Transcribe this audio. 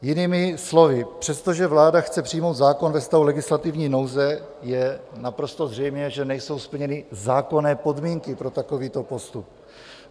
Jinými slovy, přestože vláda chce přijmout zákon ve stavu legislativní nouze, je naprosto zřejmé, že nejsou splněny zákonné podmínky pro takovýto postup.